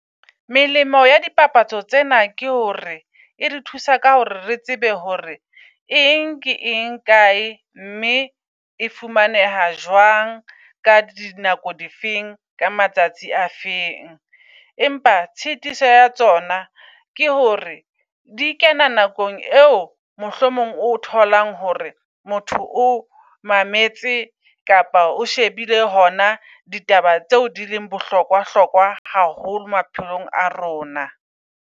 Melemo ya dipapatso tsena ke hore e re thusa ka hore re tsebe hore eng ke eng kae, mme e fumaneha jwang ka di nako difeng ka matsatsi a feng. Empa tshitiso ya tsona ke hore di kena nakong eo mohlomong o tholang hore motho o mametse kapa o shebile hona ditaba tseo di leng bohlokwa hlokwa haholo maphelong a rona.